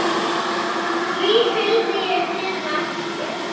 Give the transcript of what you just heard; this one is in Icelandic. Því fylgdi ég hinum eftir.